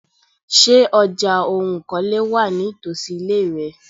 Ṣé ọjà oun ìkọ́lé wà nítosi ile rẹ?